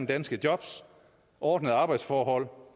danske jobs ordnede arbejdsforhold